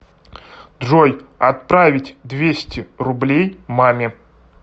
джой отправить двести рублей маме